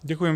Děkuji.